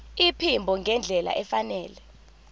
iphimbo ngendlela efanele